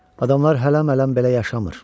Adamlar hələmələm belə yaşamır.